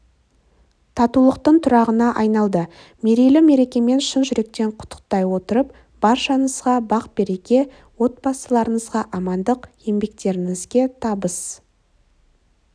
татулықтың тұрағына айналды мерейлі мерекемен шын жүректен құттықтай отырып баршаңызға бақ-береке отбасыларыңызға амандық еңбектеріңізге табыс